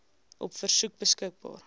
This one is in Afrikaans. op versoek beskikbaar